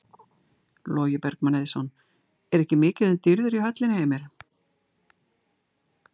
Logi Bergmann Eiðsson: Er ekki mikið um dýrðir í höllinni Heimir?